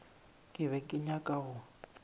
ke be ke nyaka go